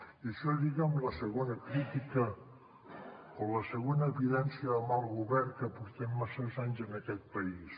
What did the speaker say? i això lliga amb la segona crítica o la segona evidència de mal govern que portem masses anys en aquest país